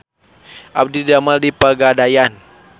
Abdi didamel di Pegadaian